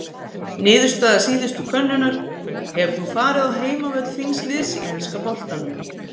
Niðurstaða síðustu könnunar: Hefur þú farið á heimavöll þíns liðs í enska boltanum?